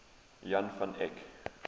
jan van eyck